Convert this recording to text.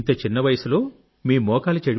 ఇంత చిన్న వయస్సులో మీ మోకాలు